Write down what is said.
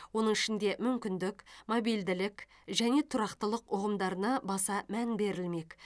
оның ішінде мүмкіндік мобильділік және тұрақтылық ұғымдарына баса мән берілмек